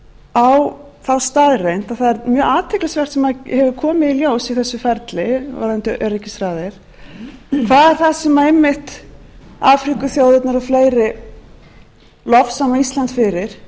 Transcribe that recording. á þá staðreynd að það er mjög athyglisvert sem hefur komið í ljós í þessu ferli varðandi öryggisráðið hvað er það sem einmitt afríkuþjóðirnar og fleiri lofsama ísland fyrir